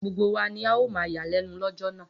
Gbogbo wa ni ó máa yàlẹ́nu lọ́jọ́ náà.